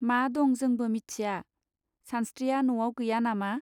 मा दं जोंबो मिथिया! सानस्त्रिया नआव गैया नामा.